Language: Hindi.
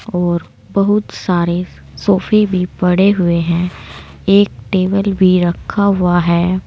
और बहुत सारे सोफे भी पड़े हुए हैं एक टेबल भी रखा हुआ है।